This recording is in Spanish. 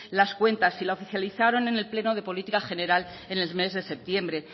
las cuentas y la oficializaron en el pleno de política general en el mes de septiembre